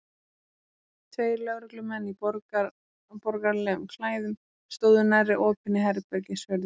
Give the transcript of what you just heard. Tveir lögreglumenn í borgaralegum klæðum stóðu nærri opinni herbergishurðinni.